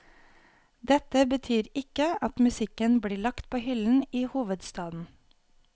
Dette betyr ikke at musikken blir lagt på hyllen i hovedstaden.